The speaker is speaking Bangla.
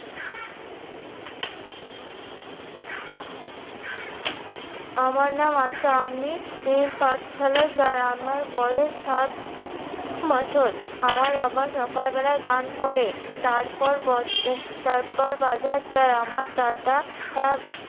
আমার নাম আশা আমি ই পাঠশালায় যাই। আমার বয়স সাত আহ বছর আমার বাবা সকালবেলা গান করে, তারপর বজ তারপর বাজার যায় আমার দাদা আহ